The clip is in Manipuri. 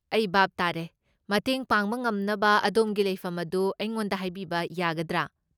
ꯑꯩ ꯚꯥꯞ ꯇꯥꯔꯦ, ꯃꯇꯦꯡ ꯄꯥꯡꯕ ꯉꯝꯅꯕ ꯑꯗꯣꯝꯒꯤ ꯂꯩꯐꯝ ꯑꯗꯨ ꯑꯩꯉꯣꯟꯗ ꯍꯥꯏꯕꯤꯕ ꯌꯥꯒꯗ꯭ꯔꯥ?